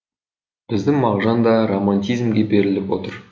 біздің мағжан да романтизмге беріліп отыр